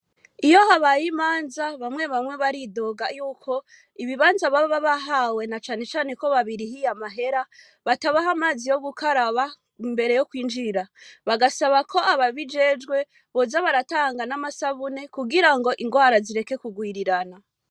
Iyo habaye imanza bamwe bamwe baridoga yuko ibibanza baba bahawe na cane cane ko babirihiye amahera batabaha amazi yo gukaraba imbere yo kwinjira, bagasaba ko ababijejwe boza baratanga n'amasabuni kugirango ingwara zireke kugwirirana.